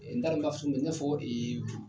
N taa dɔn n b'a fɔ i n'a fɔ .